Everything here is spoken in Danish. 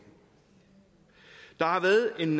der har været en